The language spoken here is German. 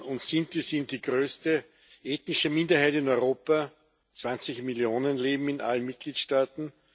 Roma und Sinti sind die größte ethnische Minderheit in Europa 20 Millionen leben in allen Mitgliedstaaten.